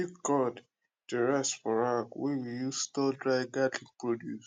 big gourd dey rest for rack wey we use store dry garden produce